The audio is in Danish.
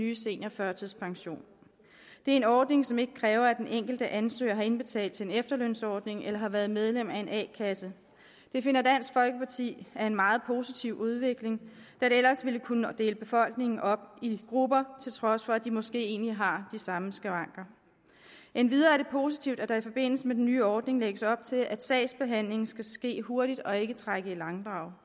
nye seniorførtidspension det er en ordning som ikke kræver at den enkelte ansøger har indbetalt til en efterlønsordning eller har været medlem af en a kasse det finder dansk folkeparti er en meget positiv udvikling da det ellers ville kunne dele befolkningen op i grupper til trods for at de måske egentlig har de samme skavanker endvidere er det positivt at der i forbindelse med den nye ordning lægges op til at sagsbehandlingen skal ske hurtigt og ikke trække i langdrag